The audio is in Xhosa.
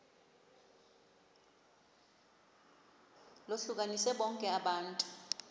lohlukanise bonke abantu